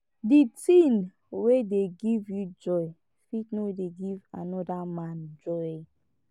di thing wey dey give you joy fit no dey give anoda man joy